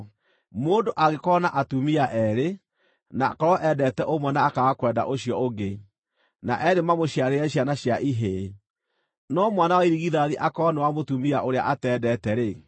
Mũndũ angĩkorwo na atumia eerĩ, na akorwo endete ũmwe na akaaga kwenda ũcio ũngĩ, na eerĩ mamũciarĩre ciana cia ihĩĩ, no mwana wa irigithathi akorwo nĩ wa mũtumia ũrĩa atendete-rĩ,